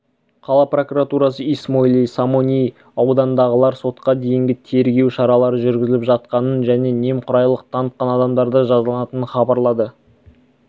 қала прокуратурасы исмоили сомони ауданындағылар сотқа дейінгі тергеу шаралары жүргізіліп жатқанын және немқұрайлылық танытқан адамдардың жазаланатынын хабарлады